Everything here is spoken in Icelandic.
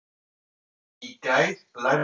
Í gær lærði ég nýtt lýsingarorð.